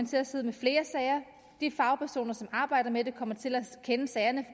til at sidde med flere sager og de fagpersoner som arbejder med det kommer til at kende sagerne